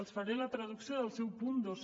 els faré la traducció del seu punt dos